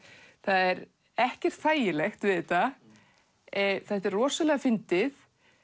það er ekkert þægilegt við þetta þetta er rosalega fyndið